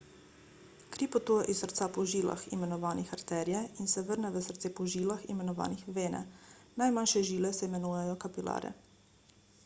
kri potuje iz srca po žilah imenovanih arterije in se vrne v srce po žilah imenovanih vene najmanjše žile se imenujejo kapilare